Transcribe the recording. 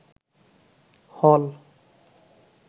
হল